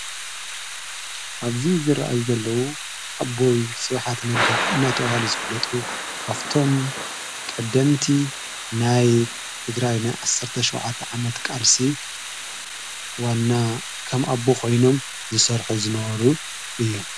ኣብዙይ ዝረአ ዘለዉ ኣቦይ ሥውኃት ነጋ እናተውሃል ዝፍለጡ ካፍቶም ቀደምቲ ናይ ትግራይ ናይ ዓሠርተ ሸዉዓተ ዓመት ቃልሲ ዋና ከም ኣቦ ኾይኖም ዝሠርሑ ዝነበሩ እዮም ::